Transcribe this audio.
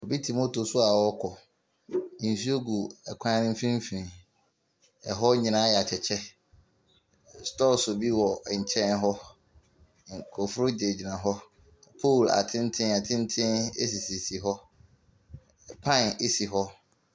Obi te moto so a ɔrekɔ. Nsuo gu ɛkwan no mfimfini. ℇhɔ nyinaa ayɛ atɛkyɛ. Stores bi wɔ nkyɛn hɔ. Nkurɔfoɔ gyinagyina hɔ. Poles atentenatenten sisisisi hɔ, pan si hɔ.